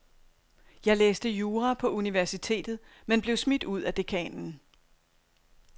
Jeg læste jura på universitet, men blev smidt ud af dekanen.